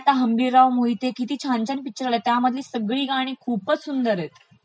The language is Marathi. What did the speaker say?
आता हंबीरराव मोहिते किती छान छान पिक्चर आलाय, त्यामधिल सगळी गाणी खूपचं सुंदर आहेत आहेत